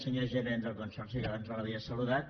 senyor gerent del consorci que abans no l’havia saludat